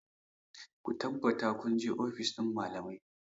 Ku tabbata kun je ofis ɗin malamai!